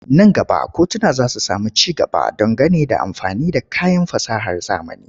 Nan gaba kotuna za su sami ci gaba don gane da amfani da kayan fasahar zamani.